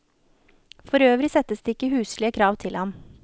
Forøvrig settes det ikke huslige krav til ham.